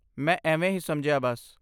ਮੈਂ ਐਵੇਂ ਹੀ ਸਮਝਿਆ ਬਸ।